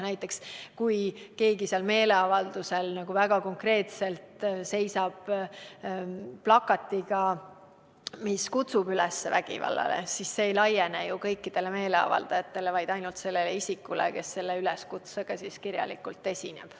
Näiteks kui keegi seal meeleavaldusel seisab väga konkreetse plakatiga, mis kutsub üles vägivallale, siis see ei laiene kõikidele meeleavaldajatele, vaid ainult sellele isikule, kes selle üleskutsega kirjalikult esineb.